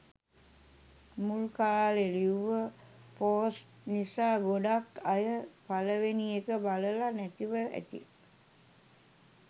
මුල් කාලෙ ලිව්ව පෝස්ට් නිසා ගොඩාක් අය පළවෙනි එක බලල නැතිව ඇති.